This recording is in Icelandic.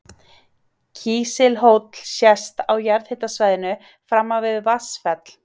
Kísilhóll sést á jarðhitasvæðinu framan við Vatnsfell.